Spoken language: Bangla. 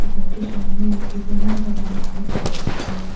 দোকানটির সামনে একটি ব্যানার লাগানো আছে দেখা যাচ্ছে।